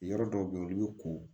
Yɔrɔ dɔw bɛ yen olu bɛ ko